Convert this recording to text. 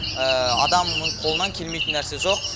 адамның қолынан келмейтін нәрсе жоқ